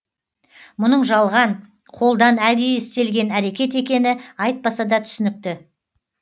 мұның жалған қолдан әдейі істелген әрекет екені айтпаса да түсінікті